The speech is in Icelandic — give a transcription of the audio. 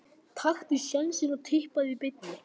Taktu sénsinn og Tippaðu í beinni.